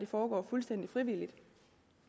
foregår fuldstændig frivilligt og